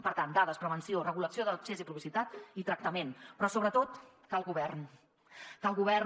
per tant dades prevenció regulació d’accés i publicitat i tractament però sobretot cal govern